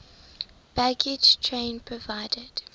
baggage train provided